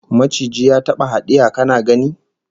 Maciji ya taba hadiya kana gani?